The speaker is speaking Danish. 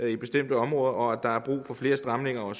i bestemte områder og at der er brug for flere stramninger af